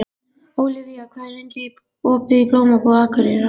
Ólivía, hvað er lengi opið í Blómabúð Akureyrar?